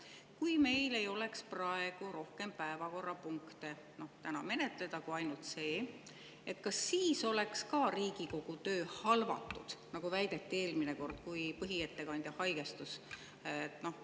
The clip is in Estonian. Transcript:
Kui meil ei oleks praegu rohkem päevakorrapunkte menetleda kui ainult see, kas siis oleks ka Riigikogu töö halvatud, nagu väideti eelmine kord, kui põhiettekandja haigestus?